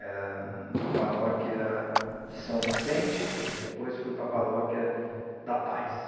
Era na paróquia de São Vicente, depois fui para a paróquia da Paz.